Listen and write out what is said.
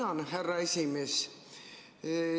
Tänan, härra esimees!